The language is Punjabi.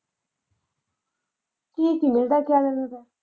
ਠੀਕ ਮਿਲਦਾ ਚਾਈਨਾ ਦਾ।